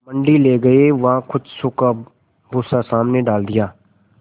मंडी ले गये वहाँ कुछ सूखा भूसा सामने डाल दिया